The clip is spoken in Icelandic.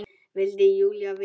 vildi Júlía vita.